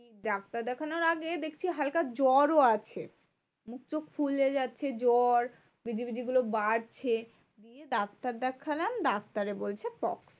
Doctor দেখানোর আগে দেখছি দেখছি হালকা জ্বরও আছে। মুখ টুখ ফুলে যাচ্ছে জ্বর বিজিবিজি গুলো বাড়ছে। ডাক্তার দেখালাম ডাক্তারে বলছে pox